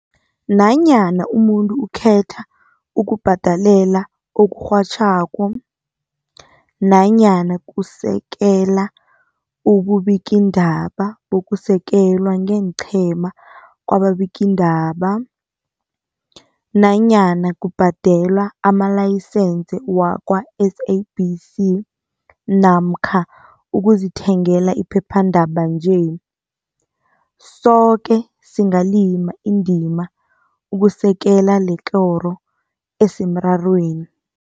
Nanyana umuntu ukhetha ukubhadelela okurhatjhwako, nanyana kusekela ububikiindaba bokusekelwa ngeenqhema kwababikiindaba, nanyana kubhadela amalayisense wakwa-SABC namkha ukuzithengela iphephandaba nje, soke singalima indima ukusekela lekoro esemrarweni.